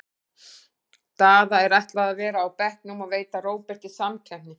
Daða er ætlað að vera á bekknum og veita Róberti samkeppni.